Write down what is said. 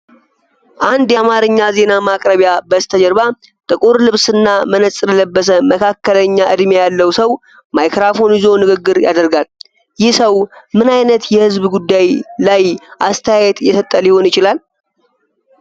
አንድ የአማርኛ ዜና ማቅረቢያ በስተጀርባ፣ ጥቁር ልብስና መነጽር የለበሰ መካከለኛ ዕድሜ ያለው ሰው ማይክሮፎን ይዞ ንግግር ያደርጋል። ይህ ሰው ምን ዓይነት የህዝብ ጉዳይ ላይ አስተያየት እየሰጠ ሊሆን ይችላል?